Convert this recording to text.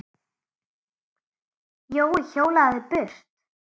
Jói hjólaði burt.